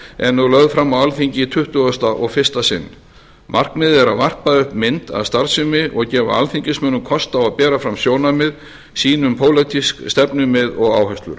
er nú lögð fram fyrir alþingi í tuttugasta og fyrsta sinn markmiðið er að varpa upp mynd af starfseminni og gefa alþingismönnum kost á að bera fram sjónarmið sín um pólitísk stefnumið og áherslur